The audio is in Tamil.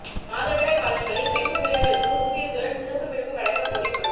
மாதவிடாய் காலங்களில் பெண் ஊழியா்களுக்கு ஊதியத்துடன் சிறப்பு விடுப்பு வழங்கக் கோரி மனு